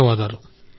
ధన్యవాదాలు